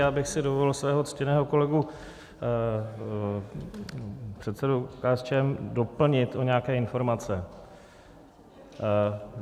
Já bych si dovolil svého ctěného kolegu, předsedu KSČM, doplnit o nějaké informace.